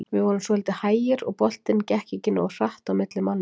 Við vorum svolítið hægir og boltinn gekk ekki nógu hratt á milli manna.